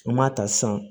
N m'a ta sisan